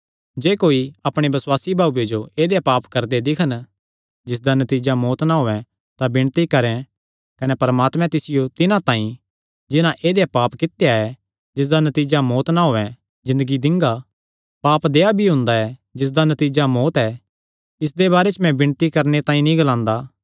जे कोई अपणे बसुआसी भाऊये जो ऐदेया पाप करदे दिक्खन जिसदा नतीजा मौत्त ना होयैं तां विणती करैं कने परमात्मे तिसियो तिन्हां तांई जिन्हां ऐदेया पाप कित्ता ऐ जिसदा नतीजा मौत्त ना होयैं ज़िन्दगी दिंगा पाप देहया भी हुंदा ऐ जिसदा नतीजा मौत्त ऐ इसदे बारे च मैं विणती करणे तांई नीं ग्लांदा